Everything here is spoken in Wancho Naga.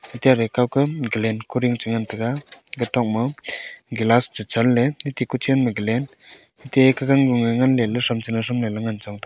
ate aga kawka gallan kuding chengan taga gatok ma gelas chechanley atte kuchen ma gallan atte kagang gung nge ngan leley thram chelo thram leley ngan chong taga.